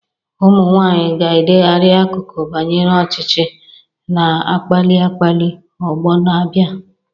Ụmụ nwanyị ga-edegharị akụkọ banyere ọchịchị, na-akpali akpali ọgbọ na-abịa.